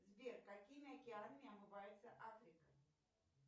сбер какими океанами омывается африка